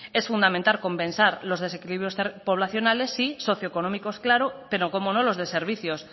es fundamental compensar los desequilibrios poblacionales sí socioeconómicos claro pero cómo no los de servicios